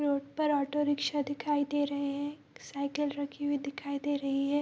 Road पर auto rickshaw दिखाई दे रहे हैं साइकिल रखी हुई दिखाई दे रही है।